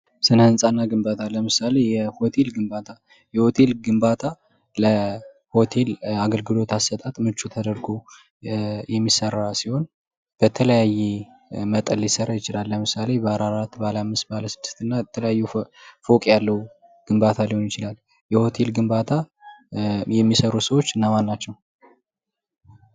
ስነ-ህንፃ እና ግንባታ ለምሳሌ የሆቴል ግንባታ የሆቴል ግንባታ ለሆቴል ለአገልግሎት አሰጣጥ ምቹ ተደርጎ የሚሰራ ሲሆን በተለያየ መጠን ሊሰራ ይችላል። ለምሳሌ ባለአራት ባለአምስት ባለስድስት እና የተለያዩ ፎቅ ያለው ግንባታ ሊሆን ይችላል። የሆቴል ግንባታ የሚሰሩት ሰዎች እነማናቸው?